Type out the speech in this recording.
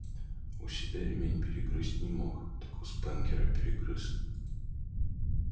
у себя ремень перегрызть не мог так у спэнкера перегрыз